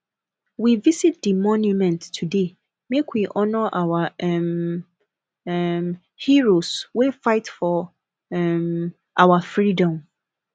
we visit di monument today make we honour our um um heroes wey fight for um our freedom